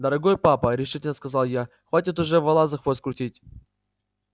дорогой папа решительно сказал я хватит уже вола за хвост крутить